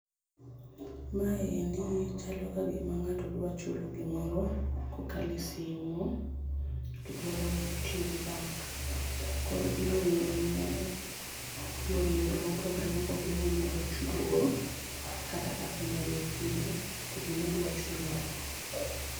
Maendi chalo kagima ng'ato dwa chulo gimoro kokalo e simu to dwaro tiyo gi bank. Koro imiye yore yore mopogore mopogore monyalo chudo go kata kaka onyalo chudo, to gimodwachulo no.